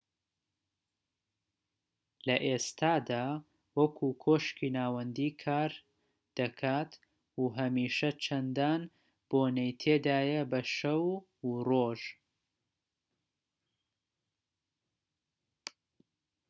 لە ئێستادا وەکو کۆشکی ناوەندی کار دەکات و هەمیشە چەندان بۆنەی تێدایە بە شەو و ڕۆژ